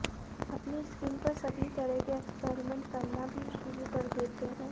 अपने स्किन पर सभी तरह के एक्सपेरिमेंट करना भी शुरू कर देते हैं